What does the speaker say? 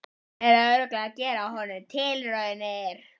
Hann er örugglega að gera á honum tilraunir!